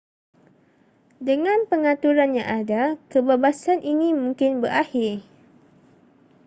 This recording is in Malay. dengan pengaturan yang ada kebabasan ini mungkin berakhir